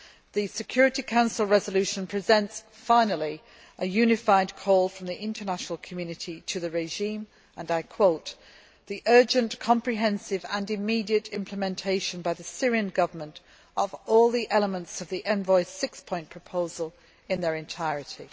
The Security Council resolution presents, finally, a unified call from the international community to the regime, and I quote the urgent, comprehensive and immediate implementation by the Syrian Government of all the elements of the Envoy's six point proposal in their entirety'.